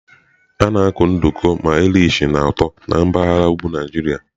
A na-akụ nduku ma Irish na ụtọ na mpaghara ugwu Naijiria.